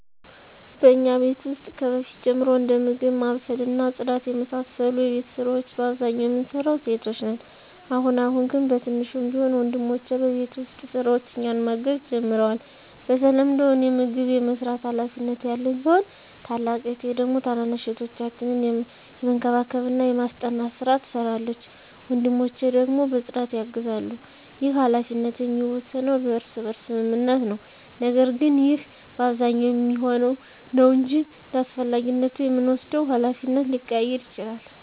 በእኛ ቤት ውስጥ ከበፊት ጀምሮ እንደ ምግብ ማብሰል እና ጽዳት የመሳሰሉ የቤት ስራወች በአብዛኛው የምንሰራው ሴቶች ነን። አሁን አሁን ግን በትንሹም ቢሆን ወንድሞቸ በቤት ውስጥ ስራዎች እኛን ማገዝ ጀምረዋል። በተለምዶ እኔ ምግብ የመስራት ሀላፊነት ያለኝ ሲሆን ታላቅ እህቴ ደግሞ ታናናሽ እህቶቻችንን የመንከባከብና የማስጠናት ስራ ትሰራለች። ወንድሞቸ ደግሞ በፅዳት ያግዛሉ። ይህ ሀላፊነት የሚወሰነው በእርስ በርስ ስምምነት ነው። ነገር ግን ይህ በአብዛኛው የሚሆነው ነው እንጅ እንዳስፈላጊነቱ የምንወስደው ሀላፊነት ሊቀያየር ይችላል።